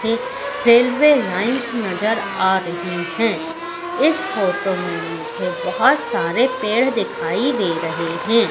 ये railway lines नजर आ रही है इस फोटो में मुझे बहोत सारे पेड़ दिखाई दे रहे हैं।